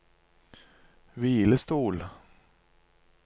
hvilestol